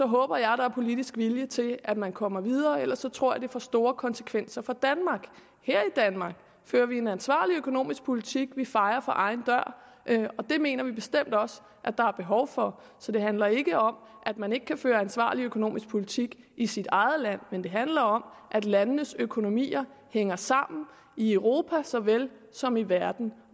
håber jeg at der er politisk vilje til at man kommer videre ellers tror jeg at det får store konsekvenser for danmark her i danmark fører vi en ansvarlig økonomisk politik vi fejer for egen dør det mener vi bestemt også at der er behov for så det handler ikke om at man ikke kan føre en ansvarlig økonomisk politik i sit eget land men det handler om at landenes økonomier hænger sammen i europa såvel som i verden